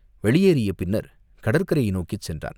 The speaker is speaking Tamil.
வெளியேறிய பின்னர் கடற்கரையை நோக்கிச் சென்றான்.